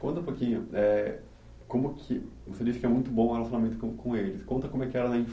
Conta um pouquinho, eh como que, você disse que é muito bom o relacionamento com com eles, conta como é que era na